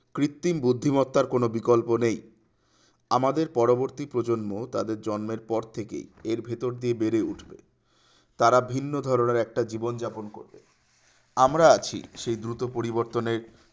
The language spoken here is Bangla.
কৃত্রিম বুদ্ধিমত্তার কোন বিকল্প নেই আমাদের পরবর্তী প্রজন্ম তাদের জন্মের পর থেকে এই ভিডিও দিয়ে বেড়ে উঠবে তারা ভিন্ন ধরনের একটা জীবন যাপন করবে আমরা আছি সেই দুটো পরিবর্তনের